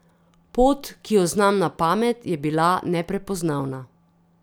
Pot, ki jo znam na pamet, je bila neprepoznavna.